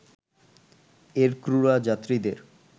এর ক্রুরা যাত্রীদের